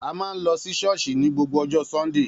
A máa ń lọ sí ṣọ́ọ̀ṣì ní gbogbo ọjọ́ Sunday